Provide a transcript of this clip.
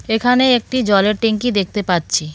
এখানে একটি জলের টেংকি দেখতে পাচ্ছি.